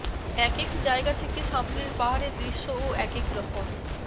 একেক জায়গা থেকে সামনের পাহাড়ের দৃশ্যও একেক রকম